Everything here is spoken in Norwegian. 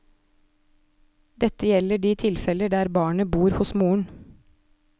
Dette gjelder de tilfeller der barnet bor hos moren.